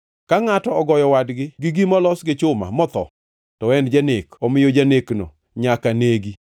“ ‘Ka ngʼato ogoyo wadgi gi gima olos gi chuma, motho, to en janek; omiyo janekno nyaka negi.